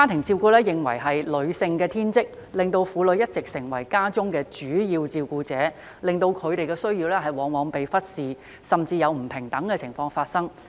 照顧家庭被認為是女性的天職，令婦女一直成為家中的主要照顧者，令她們的需要往往被忽視，甚至出現不平等情況。